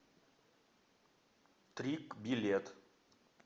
трик билет